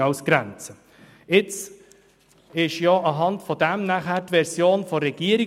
Anhand dieses Entscheides reichte die Regierung ihre Version ein.